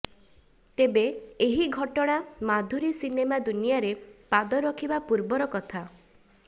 ତେବେ ଏହି ଘଟଣା ମାଧୁରୀ ସିନେମା ଦୁନିଆରେ ପାଦ ରଖିବା ପୂର୍ବର କଥା